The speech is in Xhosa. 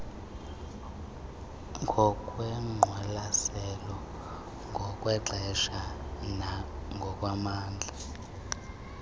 ngokwengqwalaselo ngokwexesha nangokwamandla